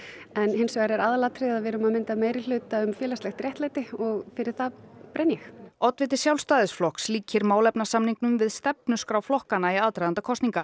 en aðalatriðið er að við erum að mynda meirihluta um félagslegt réttlæti og fyrir það brenn ég oddviti Sjálfstæðisflokks líkir málefnasamningnum við stefnuskrá flokkanna í aðdraganda kosninga